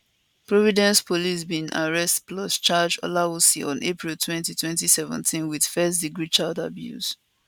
providence police bin arrest plus charge olawusi on apriltwenty2017 wit firstdegree child abuse